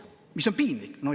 See on piinlik.